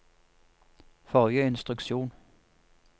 forrige instruksjon